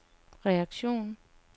reaktion